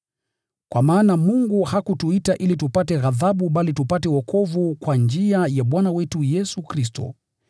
Kwa maana Mungu hakutuita ili tupate ghadhabu bali tupate wokovu kwa njia ya Bwana wetu Yesu Kristo.